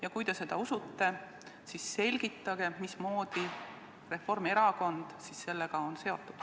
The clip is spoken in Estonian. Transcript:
Ja kui te seda usute, siis selgitage, mismoodi Reformierakond sellega on seotud.